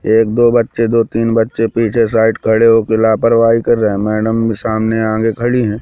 एक दो बच्चे दो तीन बच्चे पीछे साइड खडे हो के लापरवाही कर रहे हैं मैडम भी सामने आगे खड़ी है।